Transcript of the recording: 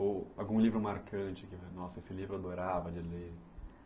Ou algum livro marcante que você, nossa, esse livro eu adorava de ler?